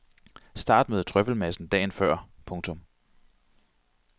Start med trøffelmassen dagen før. punktum